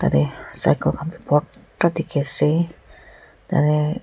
te cycle khan bi bor ta dikhi ase tate.